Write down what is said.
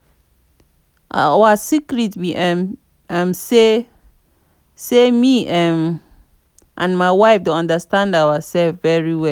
our secret be um say um say me um and my wife dey understand ourselves very well